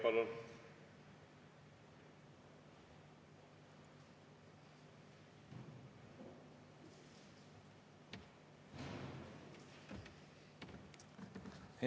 Palun!